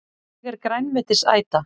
Ég er grænmetisæta!